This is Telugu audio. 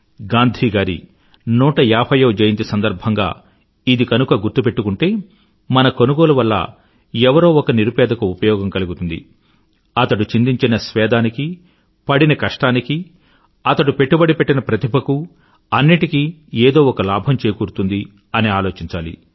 గాంధీ గారి 150వ జయంతి సందర్భంగా ఇది గనుక గుర్తు పెట్టుకుంటే మన కొనుగొలు వల్ల ఎవరో ఒక నిరుపేదకు ఉపయోగం కలుగుతుంది అతడు చిందించిన చమటకు పడిన కష్టానికీ అతడి పెట్టుబడి పెట్టిన ప్రతిభకూ అన్నింటికీ ఏదో ఒక లాభం చేకూరుతుంది అని ఆలోచించాలి